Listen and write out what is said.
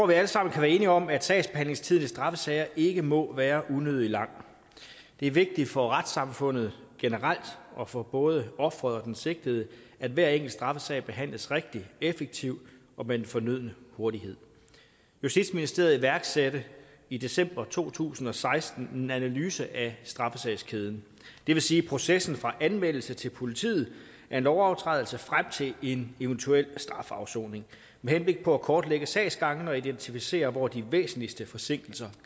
vi alle sammen kan være enige om at sagsbehandlingstiden i straffesager ikke må være unødig lang det er vigtigt for retssamfundet generelt og for både offeret og den sigtede at hver enkelt straffesag behandles rigtigt effektivt og med den fornødne hurtighed justitsministeriet iværksatte i december to tusind og seksten en analyse af straffesagskæden det vil sige processen fra anmeldelse til politiet af en lovovertrædelse frem til en eventuel strafafsoning med henblik på at kortlægge sagsgangene og identificere hvor de væsentligste forsinkelser